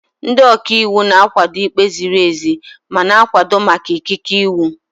Ndị ọka iwu na-akwado ikpe ziri ezi ma na-akwado maka ikike iwu.